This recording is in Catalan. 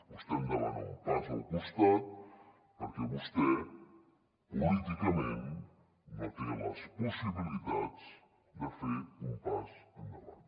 vostè em demana un pas al costat perquè vostè políticament no té les possibilitats de fer un pas endavant